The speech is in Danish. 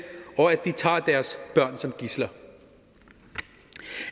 og at de tager deres børn som gidsler